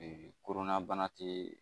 korona bana te